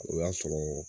O y'a sɔrɔ